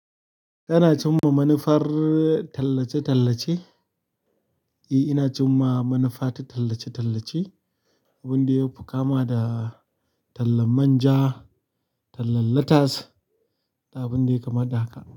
Kana cimma manufar tallace tallace. Eh, ina cimma manufa ta tallace-tallace, abin da ya fi kama da tallan man ja, tallan latas da abin da ya kama da haka.